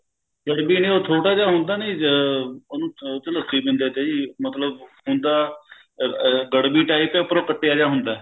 ਗੜਵੀ ਨੀਂ ਉਹ ਛੋਟਾ ਜਾ ਹੁੰਦਾ ਨੀ ਅਹ ਉਹਨੂੰ ਉਹ ਚ ਲੱਸੀ ਪੀਂਦੇ ਤੇ ਜੀ ਮਤਲਬ ਹੁੰਦਾ ਗੜਵੀ type ਹੈ ਉਪਰੋਂ ਕੱਟਿਆ ਜਾ ਹੁੰਦਾ